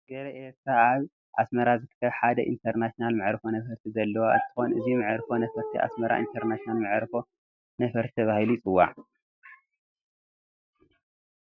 ሃገረ ኤርትራ ኣብ ኣስመራ ዝርከብ ሓደ ኢንተርናሽናል መዕርፎ ነፈርቲ ዘለዋ እንትኾን እዚ መዕርፎ ነፈርቲ ኣስመራ ኢንተርናሽናል መዕርፎ ነፈርቲ ተባሂሉ ይፅዋዕ፡፡